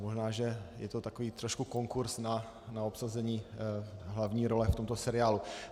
Možná že je to takový trošku konkurz na obsazení hlavní role v tomto seriálu.